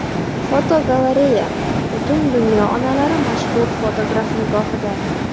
Fotogalereya: Butun dunyo onalari mashhur fotograf nigohida.